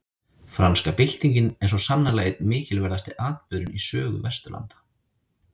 Franska byltingin er svo sannarlega einn mikilverðasti atburðurinn í sögu Vesturlanda.